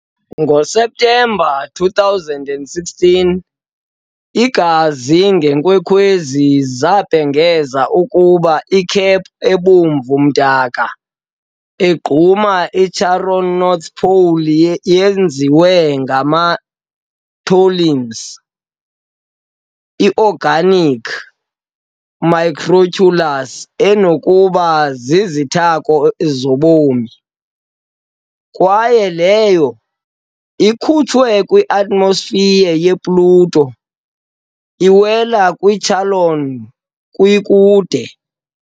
NgoSeptemba 2016, izazi ngeenkwenkwezi zabhengeza ukuba i-cap ebomvu-mdaka egquma i-Charon's North pole yenziwe ngama- tholins, i- organic macromolecules enokuba zizithako zobomi, kwaye leyo, ekhutshwe kwi -atmosphere ye-Pluto, iwela kwi-Charon kwi kude.